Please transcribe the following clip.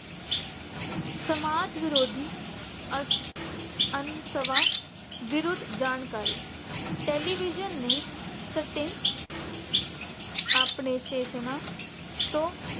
ਸਮਾਜ ਵਿਰੋਧੀ ਅਸ਼ ਅਹ ਅੰਤ ਸਮਾਂ ਵਿਰੁੱਧ ਜਾਣਕਾਰੀ television ਨੇੇ ਸਟੇ ਅਹ ਆਪਣੇ station ਤੋਂ